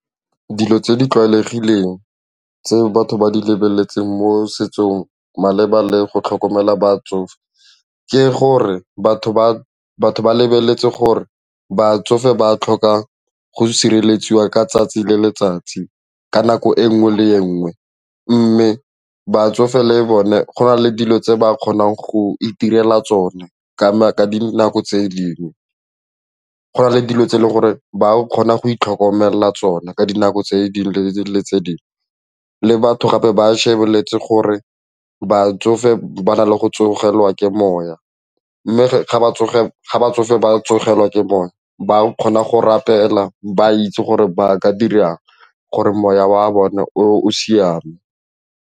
Dilo tse di tlwaelegileng tse batho ba di lebeletseng mo setsong maleba le go tlhokomela batsofe ke gore batho ba lebeletse gore batsofe ba tlhoka go sireletsiwa ka tsatsi le letsatsi ka nako e nngwe le nngwe mme batsofe le bone go na le dilo tse ba kgonang go itirela tsone ka dinako tse dingwe, go na le dilo tse e leng gore ba kgona go itlhokomela tsona ka dinako tse dingwe le tse dingwe. Le batho gape ba lebeletse gore ba tsofe ba na le go tsogele kwa ke moya mme ga ba tsoge batsofe ba tsogela ke moya ba kgona go rapela ba itse gore ba ka dirang gore moya wa bone o siame.